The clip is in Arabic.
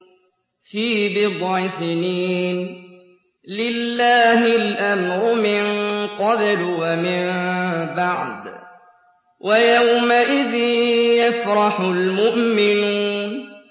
فِي بِضْعِ سِنِينَ ۗ لِلَّهِ الْأَمْرُ مِن قَبْلُ وَمِن بَعْدُ ۚ وَيَوْمَئِذٍ يَفْرَحُ الْمُؤْمِنُونَ